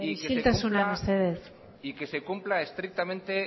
isiltasuna mesedez y que se cumpla estrictamente